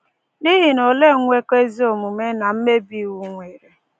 N’ihi na olee nnwekọ ezi omume na mmebi iwu nwere?